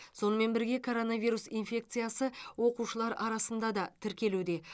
сонымен бірге коронавирус инфекциясы оқушылар арасында да тіркелуде